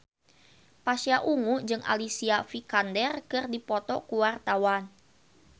Pasha Ungu jeung Alicia Vikander keur dipoto ku wartawan